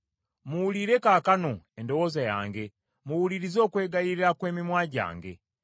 Muwulire kaakano endowooza yange, muwulirize okwegayirira kw’emimwa gyange.